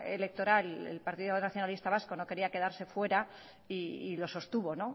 electoral el partido nacionalista vasco no quería quedarse fuera y lo sostuvo